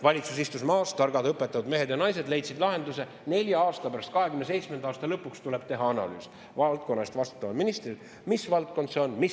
Valitsus istus maas, targad õpetavad mehed ja naised leidsid lahenduse: nelja aasta, 2027. aasta lõpuks tuleb valdkonna eest vastutaval ministril teha analüüs Mis valdkond see on?